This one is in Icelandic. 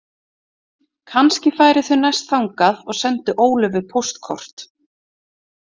Kannski færu þau næst þangað og sendu Ólöfu póstkort.